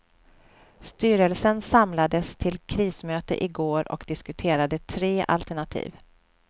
Styrelsen samlades till krismöte i går och diskuterade tre alternativ.